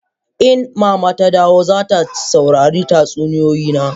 In mama ta dawo, za ta saurari tatsuniyoyi na.